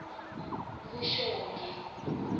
vuxongi